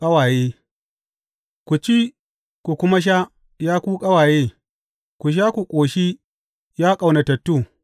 Ƙawaye Ku ci, ku kuma sha, ya ku ƙawaye; ku sha ku ƙoshi, ya ƙaunatattu.